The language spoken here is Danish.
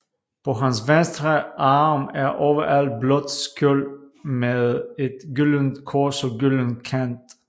På hans venstre arm et ovalt blåt skjold med et gyldent kors og gylden kant